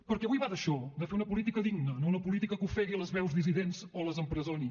perquè avui va d’això de fer una política digna no una política que ofegui les veus dissidents o les empresoni